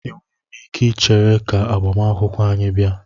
Enweghị m ike ichere ka agbamakwụkwọ anyị bịa.